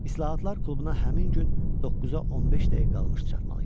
İslahatlar klubuna həmin gün 9-a 15 dəqiqə qalmış çatmalı idilər.